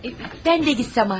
Mən də getsəm artıq.